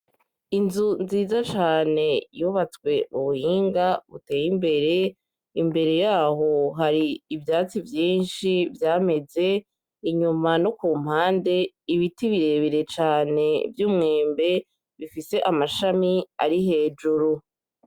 Inzu nziza cane yubatswe m'ubuhinga buteye imbere, imbere yaho har'ivyatsi vyinshi vyameze, inyuma no kumpande ibiti birebire cane vy'umwembe bifise amashami ari hejuru.